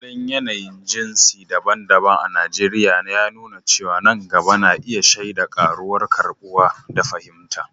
Halin yanayin jinsi daban-daban a Najeriya yana nuna cewa nan gaba na iya shaida ƙaruwar karɓuwa da fahimta